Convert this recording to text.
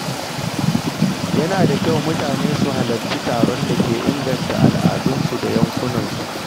Yana da kyau mutane su halarci taron da ke inganta al’adunsu da yankunansu.